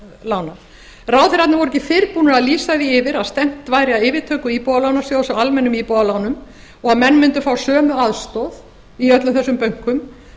húsnæðislána ráðherrarnir voru ekki fyrr búnir að lýsa því yfir að stefnt væri að yfirtöku íbúðalánasjóði á almennum íbúðarlánum og menn mundu fá sömu aðstoð í öllum þessum bönkum